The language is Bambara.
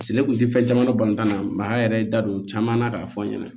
ne kun tɛ fɛn caman dɔn bantan na mɛ maa yɛrɛ ye n da don caman na k'a fɔ an ɲɛna